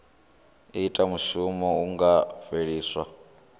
ita mushumo hu nga fheliswa